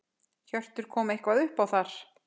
Hjörtur: Kom eitthvað upp þar?